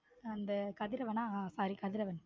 அந்த கதிரவனா ஹம் sorry கதிரவன்.